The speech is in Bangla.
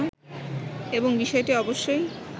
এবং বিষয়টি অবশ্যই